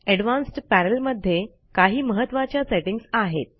advanced panel मध्ये काही महत्त्वाच्या सेटिंग्ज आहेत